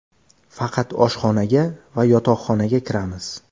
Faqat oshxonaga va yotoqxonaga kiramiz.